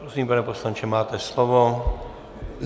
Prosím, pane poslanče, máte slovo.